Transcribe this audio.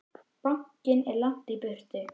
Bankinn er langt í burtu.